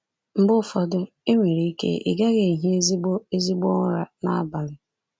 Mgbe ụfọdụ, e nwere ike ị gaghị ehi ezigbo ezigbo ụra n’abalị.